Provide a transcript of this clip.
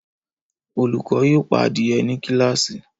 Olukọni yoo pa adie ni kilasi